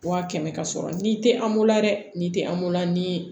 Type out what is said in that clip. Wa kɛmɛ ka sɔrɔ ni tɛ an bolo la dɛ ni tɛ anmola ni